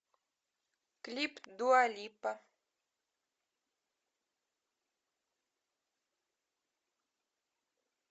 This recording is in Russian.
клип дуа липа